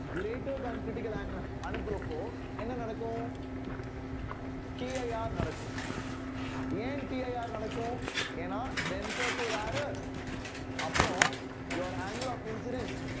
greater than critical angle அனுப்புறப்போ என்ன நடக்கும் CIR யாரு நடக்கும் ஏன் TIR நடக்கும் ஏன்னா denser to rarer அப்புறம் you are angle of incidence